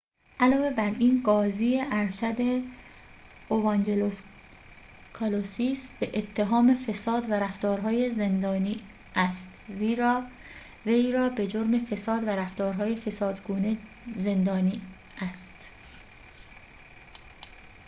علاوه بر این قاضی ارشد اوانجلوس کالوسیس به اتهام فساد و رفتار‌های زندانی است زیرا وی را به جرم فساد و رفتارهای فسادگونه زندانی است